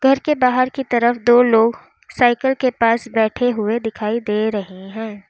घर के बाहर की तरफ दो लोग साइकल के पास बैठे हुए दिखाई दे रहे हैं।